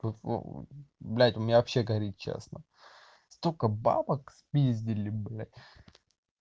блядь у меня вообще горит честно столько бабок спиздили бля